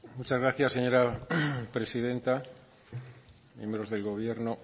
muchas gracias señora presidenta miembros del gobierno